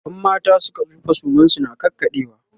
in mata Suka tsufa suman su na ƙaƙaɗewa